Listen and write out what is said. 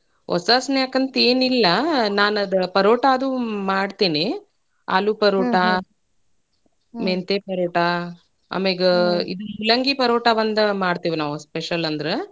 ಹೊಸಾ snack ಅಂತೇನಿಲ್ಲಾ ನಾನ್ ಅದ್ ಪರೋಟಾ ಅದು ಮಾಡ್ತೇನಿ ಆಲೂ ಪರೋಟಾ ಮೆಂತೆ ಪರೋಟಾ ಆಮ್ಯಾಗ ಮೂಲಂಗಿ ಪರೋಟಾ ಒಂದ್ ಮಾಡ್ತೇವಿ ನಾವ್ special ಅಂದ್ರ.